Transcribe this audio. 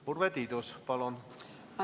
Urve Tiidus, palun!